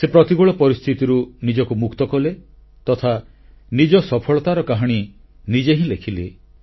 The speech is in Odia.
ସେ ପ୍ରତିକୂଳ ପରିସ୍ଥିତିରୁ ନିଜକୁ ମୁକ୍ତ କଲେ ତଥା ନିଜ ସଫଳତାର କାହାଣୀ ନିଜେ ହିଁ ଲେଖିଲେ